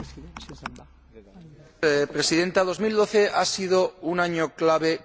Señora Presidenta, 2012 ha sido un año clave para el euro.